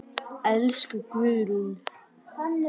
Elsku Guðrún.